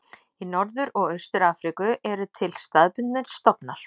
Í Norður og Austur-Afríku eru til staðbundnir stofnar.